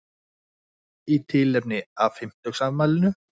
Í tilefni af fimmtugsafmælinu